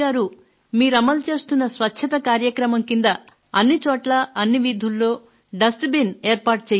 మీరు అమలు చేస్తున్న స్వచ్ఛత కార్యక్రమం కింద అన్నిచోట్లా అన్ని వీధుల్లో కుప్ప తొట్టి ఏర్పాటుచేయండి అని